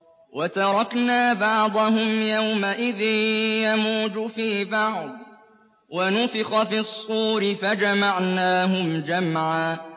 ۞ وَتَرَكْنَا بَعْضَهُمْ يَوْمَئِذٍ يَمُوجُ فِي بَعْضٍ ۖ وَنُفِخَ فِي الصُّورِ فَجَمَعْنَاهُمْ جَمْعًا